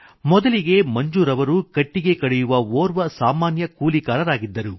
ಮೊದಲಿಗೆ ಮಂಜೂರ್ ಅವರು ಕಟ್ಟಿಗೆ ಕಡಿಯುವ ಓರ್ವ ಸಾಮಾನ್ಯ ಕೂಲಿಕಾರರಾಗಿದ್ದರು